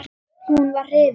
Hún var hrifin.